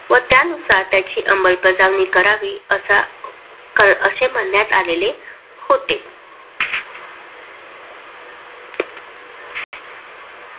व त्यानुसार त्याची अंबालबजवानी करावी अशे म्हणण्यात आलेले होते.